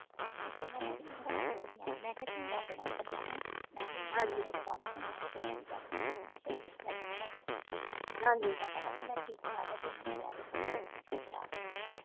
ਕਿਡਨੀਆ ਤੁਹਾਡੀਆਂ ਖਰਾਬ ਹੋ ਗਈਆਂ ਮੈਂ ਕਿਹਾ ਤੂੰ ਰੱਬ ਨਾਲੋਂ ਵੱਡਾ ਵਾ ਮੈਂ ਮੈਨੂੰ ਪਤਾ ਮੇਰੇ ਰਬ ਨੇ ਕੁਛ ਨਹੀਂ ਕਰਨਾ ਮੈ ਮੈਂ ਮੈਨੂੰ ਸਹੀ ਰੱਖਿਆ ਰੱਬ ਨੇ ਮੈਂ ਮੈਨੂੰ ਪਤਾ ਵਾ ਮੈਂ ਠੀਕ ਠਾਕ ਆ ਤੂੰ ਮੈਨੂੰ ਕਹਿ ਦਿੱਤਾ ਵਾ ਤੇਰੇ ਫੇਫੜੇ ਖਰਾਬ ਐ